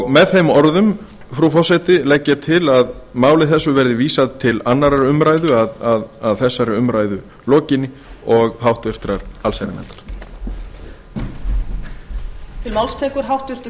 með þeim orðum frú forseti legg ég til að máli þessu verði vísað til annarrar umræðu að þessari umræðu lokinni og háttvirtrar allsherjarnefndar lauk á fyrri spólu